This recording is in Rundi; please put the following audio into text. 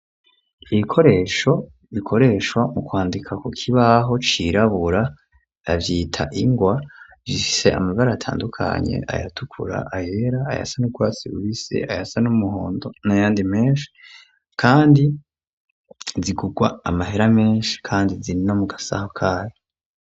ibikoresho bikoreshwa mu kwandika ku kibaho cirabura bavyita ingwa , bifise amabara atandukanye ayatukura, ayera, ayasa n'urwatsi rubisi, ayasa n'umuhondo n'ayandi menshi kandi zigugwa amahera menshi kandi zirino mu gasaho kazo.